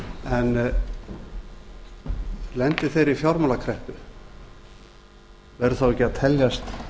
að lenda í þeirri fjármálakreppu verður þá ekki að teljast